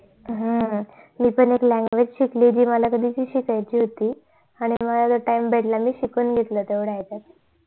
हम्म मी पण एक language शिकली जी मला कधी ची च शिकायची होती आणि मला time भेटला मी शिकून घेतल तेवढ्या याच्यात